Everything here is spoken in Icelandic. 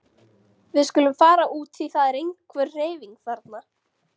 Við skulum fara út því það er einhver hreyfing þarna.